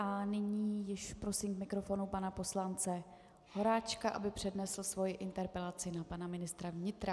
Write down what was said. A nyní již prosím k mikrofonu pana poslance Horáčka, aby přednesl svoji interpelaci na pana ministra vnitra.